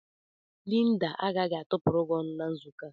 Linda agaghị atụpụrụ gị ọnụ na nzukọ ahụ.